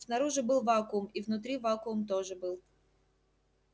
снаружи был вакуум и внутри вакуум тоже был